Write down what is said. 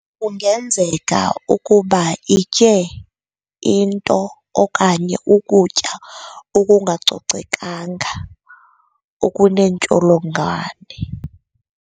Kungenzeka ukuba itye into okanye ukutya okungacocekanga okuneentsholongwane.